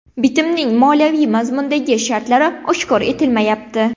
Bitimning moliyaviy mazmundagi shartlari oshkor etilmayapti.